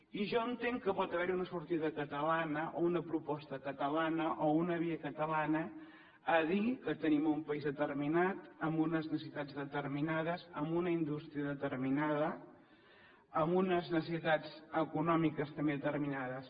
i jo entenc que pot haver hi una sortida catalana o una proposta catalana o una via catalana a dir que tenim un país determinat amb unes necessitats determinades amb una indústria determinada amb unes necessitats econòmiques també determinades